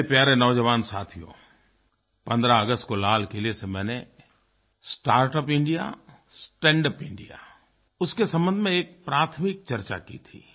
मेरे प्यारे नौजवान साथियो 15 अगस्त को लाल किले से मैंने स्टार्टअप इंडिया स्टैंडअप इंडिया उसके संबंध में एक प्राथमिक चर्चा की थी